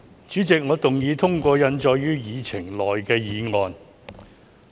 主席，我動議通過印載於議程內的議案。